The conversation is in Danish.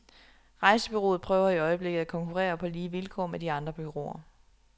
Rejsebureauet prøver i øjeblikket at konkurrere på lige vilkår med de andre bureauer.